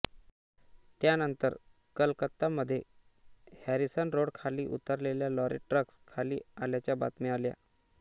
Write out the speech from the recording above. त्यानंतर कलकत्तामध्ये Harrison road खाली उतरलेल्या लॉरी ट्रक्स खाली आल्याच्या बातम्या आल्या